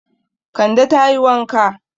Kande ta yi wanka.